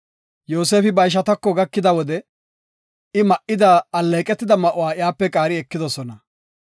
Yoosefi ba ishatako gakida wode I ma77ida alleeqetida ma7uwa iyape qaari ekidosona.